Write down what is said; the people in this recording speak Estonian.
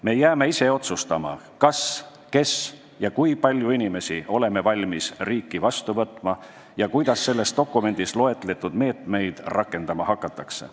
Me jääme ise otsustama, kas, mis ja kui palju inimesi oleme valmis riiki vastu võtma ja kuidas selles dokumendis loetletud meetmeid rakendama hakatakse.